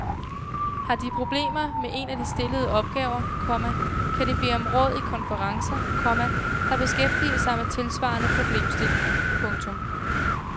Har de problemer med en af de stillede opgaver, komma kan de bede om råd i konferencer, komma der beskæftiger sig med tilsvarende problemstillinger. punktum